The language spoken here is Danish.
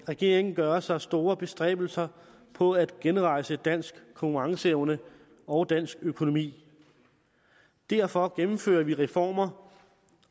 regeringen gør sig store bestræbelser på at genrejse dansk konkurrenceevne og dansk økonomi derfor gennemfører vi reformer